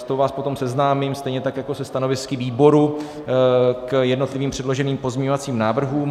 S tou vás potom seznámím, stejně tak jako se stanovisky výboru k jednotlivým předloženým pozměňovacím návrhům.